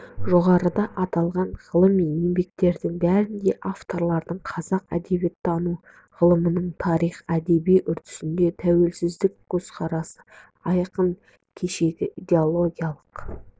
жоғарыда аталған ғылыми еңбектердің бәрінде де авторлар қазақ әдебиеттану ғылымының тарихи-әдеби үрдісіне тәуелсіздік көзқарасы айқын кешегі идеологиялық